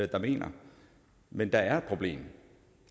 der mener men der er et problem